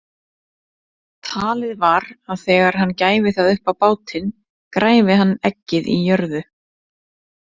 Talið var að þegar hann gæfi það upp á bátinn græfi hann eggið í jörðu.